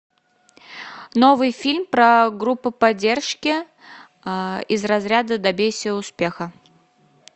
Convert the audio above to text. новый фильм про группу поддержки из разряда добейся успеха